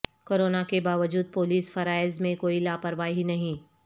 corona کے باوجود police فرائض میں کوئی لاپرواہی نہیں